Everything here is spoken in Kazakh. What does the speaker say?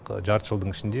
жарты жылдың ішінде